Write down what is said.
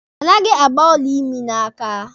Anaghị agba ọla imi n'aka.